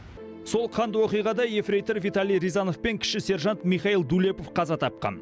сол қанды оқиғада ефрейтор виталий рязанов пен кіші сержант михаил дулепов қаза тапқан